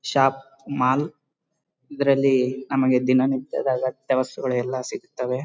Shop mall ಇದ್ರಲ್ಲಿ ನಮಗೆ ದಿನ ನಿತ್ಯದ ಅಗತ್ಯ ವಸ್ತುಗಳೆಲ್ಲ ಸಿಗುತ್ತದೆ.